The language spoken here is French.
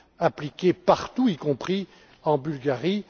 appliqué partout, y compris en Bulgarie.